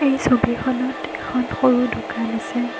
এই ছবিখনত এখন সৰু দোকান আছে।